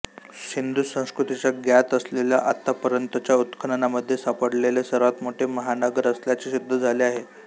सिंधू संस्कृतीच्या ज्ञात असलेल्या आतापर्यंतच्या उत्खननामध्ये सापडलेले सर्वात मोठे महानगर असल्याचे सिद्ध झाले आहे